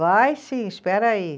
Vai sim, espera aí.